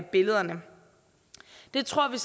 billederne det tror vi